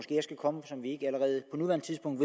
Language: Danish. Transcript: nuværende tidspunkt